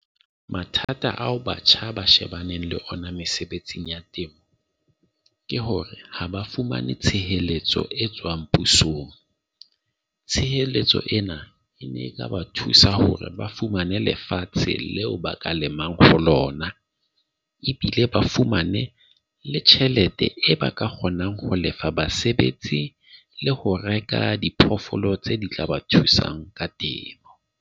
Mathata ao batjha ba shebaneng le ona mesebetsing ya temo ke hore ha ba fumane tshehetso e tswang pusong. Tshireletso ena e ne e ka ba thusa hore ba fumane le lefatshe leo ba ka lemang for lona. Ebile ba fumane le tjhelete e ba ka kgonang ho lefa basebetsi le ho reka diphoofolo tse di tla ba thusang ka teng .